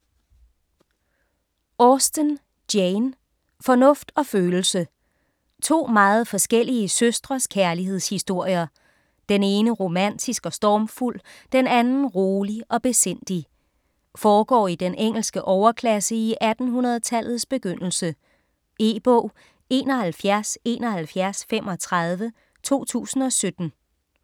Austen, Jane: Fornuft og følelse To meget forskellige søstres kærlighedshistorier. Den ene romantisk og stormfuld, den anden rolig og besindig. Foregår i den engelske overklasse i 1800-tallets begyndelse. E-bog 717135 2017.